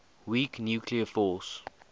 weak nuclear force